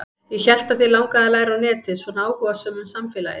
Ég hélt að þig langaði að læra á netið, svona áhugasöm um samfélagið.